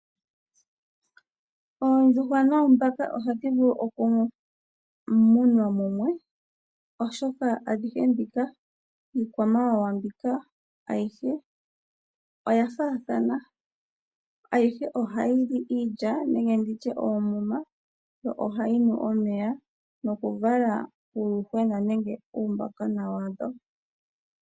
Oondjuhwa noombaka ohadhi vulu okumunwa mumwe molwaashoka oya faathana . Aihe ohayi yili iilya nenge oomuma. Yo ohayi nu omeya noku vala uuyuhwena nenge uumbakona.